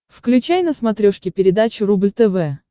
включай на смотрешке передачу рубль тв